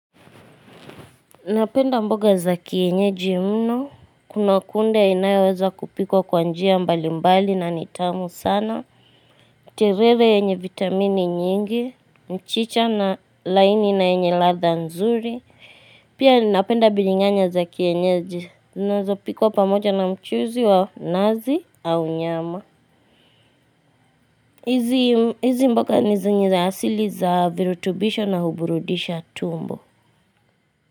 Napenda mboga za kienyeji mno, kuna kunde inayoweza kupikwa kwa njia mbali mbali na nitamu sana. Terere enye vitamini nyingi, mchicha na laini na enye ladha nzuri. Pia napenda biringanya za kienyeji, naweza kupikwa pamoja na mchuzi wa nazi au nyama. Hizi mboga nizinyi za asili za virutubisho na huburudisha tumbo.